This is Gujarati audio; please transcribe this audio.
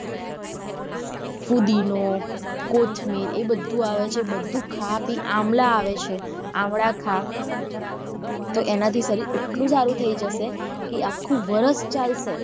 ફૂદીનો, કોથમીર એ બધું આવે છે બધું ખા પી આમલા આવે છે આવડા ખા તો એના થી શરીર એટલું સારું થઇ જશે કે આખું વરસ ચાલશે.